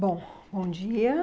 Bom, bom dia.